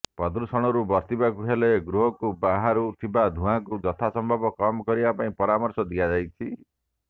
ପ୍ରଦୂଷଣରୁ ବର୍ତ୍ତିବାକୁ ହେଲେ ଗୃହରୁ ବାହାରୁ ଥିବା ଧୂଆଁକୁ ଯଥାସମ୍ଭବ କମ୍ କରିବା ପାଇଁ ପରାମର୍ଶ ଦିଆଯାଇଛି